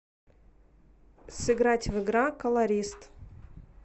сыграть в игра колорист